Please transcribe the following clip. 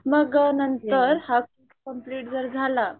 मग नंतर हा कोर्स कंप्लेंट जर झाला